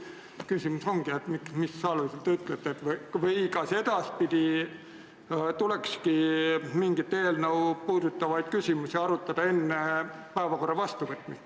Küsimus ongi, kas edaspidi tulekski mingit eelnõu puudutavaid küsimusi arutada enne päevakorra vastuvõtmist.